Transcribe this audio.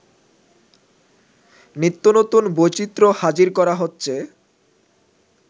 নিত্যনতুন বৈচিত্র্য হাজির করা হচ্ছে